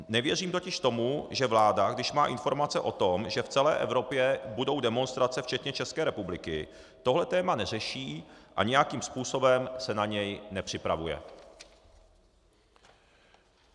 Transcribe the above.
Nevěřím totiž tomu, že vláda, když má informace o tom, že v celé Evropě budou demonstrace včetně České republiky, tohle téma neřeší a nějakým způsobem se na něj nepřipravuje.